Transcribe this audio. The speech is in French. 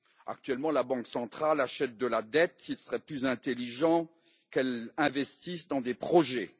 Actuellement, la Banque centrale achète de la dette, il serait plus intelligent qu'elle investisse dans des projets.